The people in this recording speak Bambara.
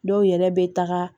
Dɔw yɛrɛ bɛ taga